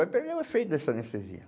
Vai perder o efeito dessa anestesia.